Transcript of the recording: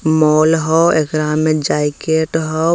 Mall हो एकरा में जैकेट होआ।